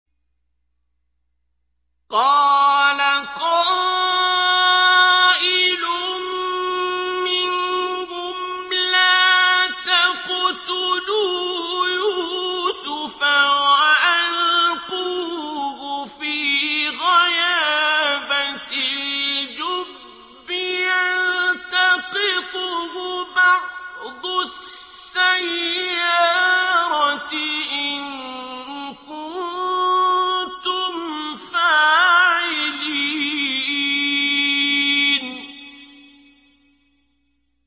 قَالَ قَائِلٌ مِّنْهُمْ لَا تَقْتُلُوا يُوسُفَ وَأَلْقُوهُ فِي غَيَابَتِ الْجُبِّ يَلْتَقِطْهُ بَعْضُ السَّيَّارَةِ إِن كُنتُمْ فَاعِلِينَ